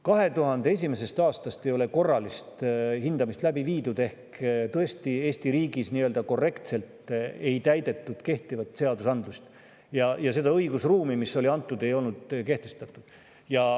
2001. aastast ei ole korralist hindamist läbi viidud ehk Eesti riigis ei ole korrektselt täidetud kehtivat seadusandlust ja seda õigusruumi, mis oli antud, ei olnud kehtestatud.